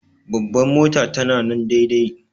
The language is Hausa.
Bambar motar ta na nan daidai.